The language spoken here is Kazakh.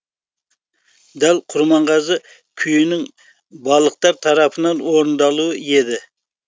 дәл құрманғазы күйінің балықтар тарапынан орындалуы еді